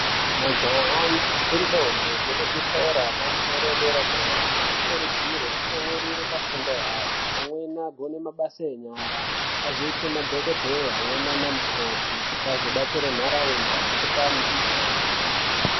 Majaha nendombi dzemuzvikora yepamusoro yedera dera anokurudzirwa kutsamwirira pafundo yavo amweni agone mabasa enyara azoite madhokodheya amweni ana mukoti kuti anodetsera ndaraunda amweni ape antu mitombo.